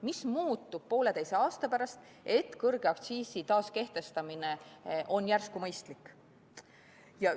Mis muutub pooleteise aasta pärast, et kõrge aktsiisi taaskehtestamine on järsku mõistlik?